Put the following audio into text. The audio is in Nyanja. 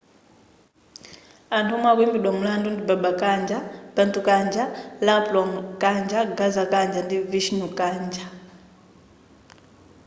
anthu omwe akuimbidwa mulandu ndi baba kanjar bhutha kanjar rampro kanjar gaza kanjar ndi vishnu kanjar